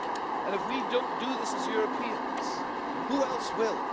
And if we do not do this as Europeans, who else will?